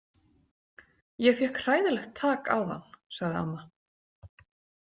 Ég fékk hræðilegt tak áðan, sagði amma.